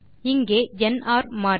இங்கே என்ஆர் மாறிலி